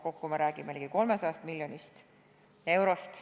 Kokku me räägime ligi 300 miljonist eurost.